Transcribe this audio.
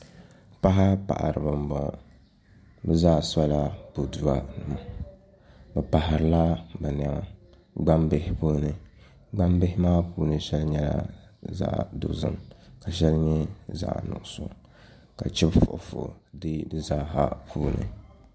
Paɣa paɣaribi n boŋɔ bi zaa sola boduwa nima bi paharila bi niɛma gbambihi puuni gbambihi maa puuni shɛli nyɛla zaɣ dozim ka shɛli nyɛ zaɣ nuɣso ka chibi fuifui deei di zaaha puini